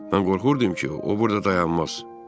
Mən qorxurdum ki, o burada dayanmaz.